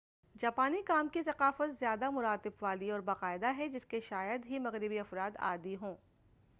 جاپانی کام کی ثقافت زیادہ مراتب والی اور باقاعدہ ہے جس کے شاید ہی مغربی افراد عادی ہوں